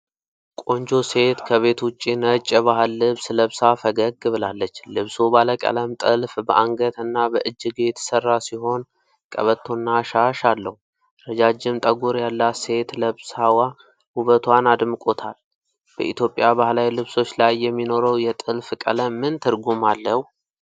ቆንጆ ሴት ከቤት ውጭ ነጭ የባህል ልብስ ለብሳ ፈገግ ብላለች። ልብሱ ባለቀለም ጥልፍ በአንገት እና በእጅጌው የተሰራ ሲሆን፣ ቀበቶና ሻሽ አለው። ረጃጅም ጠጉር ያላት ሴት ለብሳዋ ውበቷን አድምቆታል። በኢትዮጵያ ባህላዊ ልብሶች ላይ የሚኖረው የጥልፍ ቀለም ምን ትርጉም አለው?